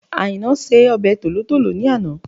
Àìná se ọbẹ̀ tòlótòló ní àná